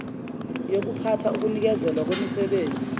yokuphatha ukunikezelwa kwemisebenzi